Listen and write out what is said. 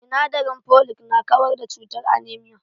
Sinadarin folic na kawar da cutar anaemia